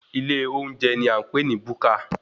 Ilé olóúnjẹ ní à ń pè ní búkà.